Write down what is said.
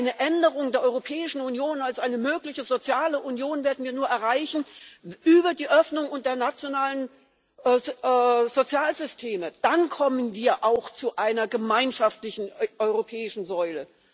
Eine Änderung der Europäischen Union als eine mögliche soziale Union werden wir nur über die Öffnung der nationalen Sozialsysteme erreichen dann kommen wir auch zu einer gemeinschaftlichen europäischen Säule.